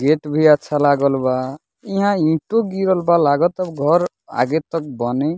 Gate भी अच्छा लागल बा इहा ईटो गिरल बा लागाता घर आगे तक बनी।